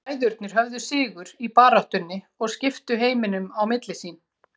Bræðurnir höfðu sigur í baráttunni og skiptu heiminum á milli sín.